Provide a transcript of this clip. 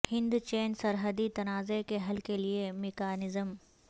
ہند چین سرحدی تنازعہ کے حل کے لیے میکانزم